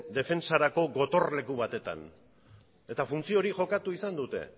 defentsarako gotorleku batetan eta funtzio hori jokatu izan dute